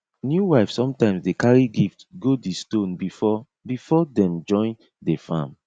new wife sometimes dey carry gift go di stone before before dem join dey farm